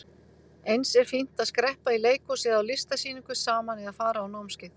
Eins er fínt að skreppa í leikhús eða á listasýningu saman eða fara á námskeið.